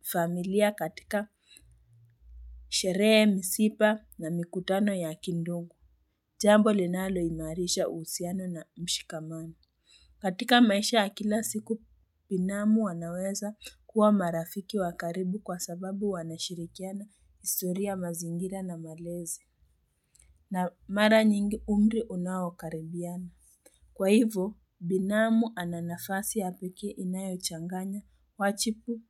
familia katika sherehe, misipa na mikutano ya kindungu. Jambo linalo imarisha usiano na mshikamani. Katika maisha akila siku, binamu wanaweza kuwa marafiki wa karibu kwa sababu wanashirikiana historia mazingira na malezi na mara nyingi umri unao karibiana. Kwa hivyo, binamu ananafasi ya pekee inayo changanya, wachipu,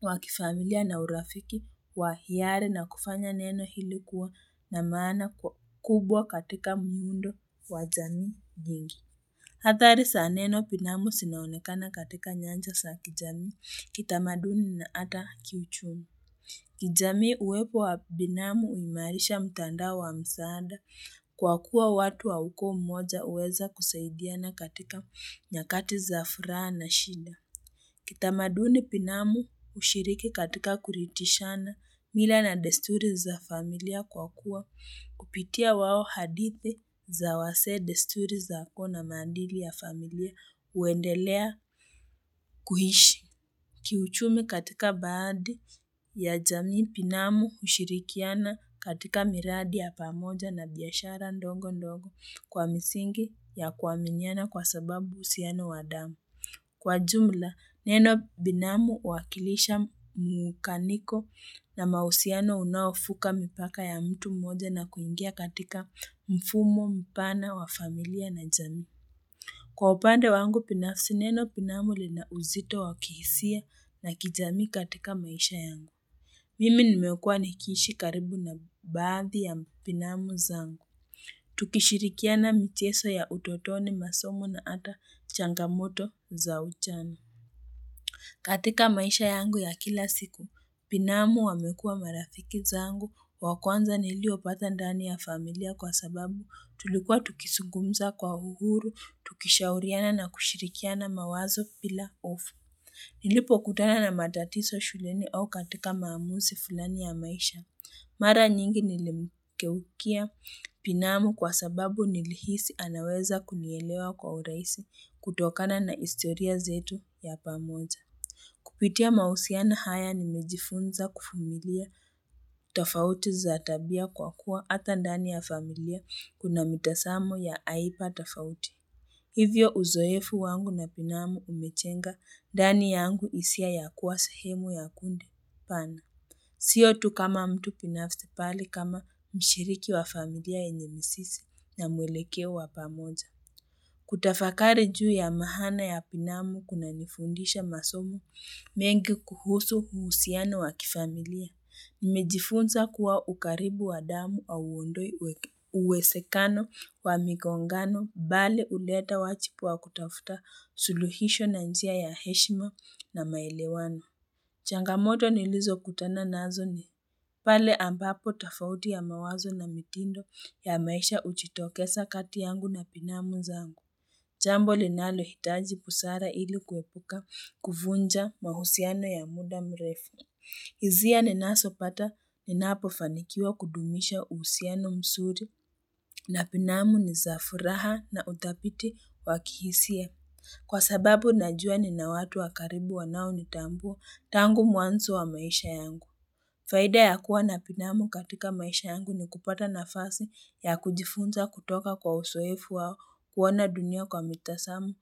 wa kifamilia na urafiki, wa hiyari na kufanya neno hili kuwa na maana kwa kubwa katika muundo wajamii nyingi. Hathari sa neno pinamu sinaonekana katika nyanja sa kijami, kitamaduni na hata kiuchumi. Kijamii uwepo wa binamu uimarisha mtandao wa msaada kwa kuwa watu wa ukoo mmoja uweza kusaidiana katika nyakati za furaha na shida. Kitamaduni pinamu ushiriki katika kuritishana mila na desturi za familia kwa kuwa kupitia wao hadithi za wazee desturi za uko na maandili ya familia uendelea kuhishi. Kiuchumi katika baadhi ya jamii pinamu ushirikiana katika miradi ya pamoja na biyashara ndongo ndongo kwa misingi ya kuwaminiana kwa sababu usiano wa damu. Kwa jumla, neno binamu uwakilisha mukaniko na mausiano unaofuka mipaka ya mtu mmoja na kuingia katika mfumo, mpana, wa familia na jamii. Kwa upande wangu pinafsi, neno binamu linauzito wakihisia na kijamii katika maisha yangu. Mimi nimekuwa nikishi karibu na baadhi ya binamu zangu. Tukishirikia na mcheso ya utotoni masomo na ata changamoto za ujana katika maisha yangu ya kila siku, binamu wamekua marafiki zangu wakwanza niliopata ndani ya familia kwa sababu tulikuwa tukisugumza kwa uhuru Tukishauriana na kushirikia na mawazo pila hofu Nilipo kutana na matatiso shuleni au katika maamusi fulani ya maisha Mara nyingi nilimukeukia pinamu kwa sababu nilihisi anaweza kunielewa kwa uraisi kutokana na historia zetu ya pamoja. Kupitia mausiana haya nimejifunza kufumilia tafauti za tabia kwa kuwa ata ndani ya familia kuna mitasamo ya aipa tafauti. Hivyo uzoefu wangu na pinamu umechenga ndani yangu isia ya kuwa sahemu ya kundi pana. Siyo tu kama mtu pinafsi pali kama mshiriki wa familia yenye misisi na mwelekeo wa pamoja. Kutafakari juu ya mahana ya pinamu kunanifundisha masomo mengi kuhusu mhusiano wa kifamilia. Nimejifunza kuwa ukaribu wa damu au undoi uwesekano wa migongano, bali uleta wachipu wa kutafuta suluhisho na njia ya heshima na maelewano. Changamoto nilizo kutana nazo ni pale ambapo tofauti ya mawazo na mitindo ya maisha uchitokesa kati yangu na pinamu zangu. Jambo linalohitaji busara ili kuepuka kuvunja mahusiano ya muda mrefu. Hisia ni nasopata ni napofanikiwa kudumisha usiano msuri na pinamu ni za furaha na uthapiti wa kihisia. Kwa sababu najua nina watu wa karibu wanao ni tambua tangu mwanso wa maisha yangu. Faida ya kuwa na pinamu katika maisha yangu ni kupata nafasi ya kujifunza kutoka kwa usoefu wao kuona dunia kwa mitasamo.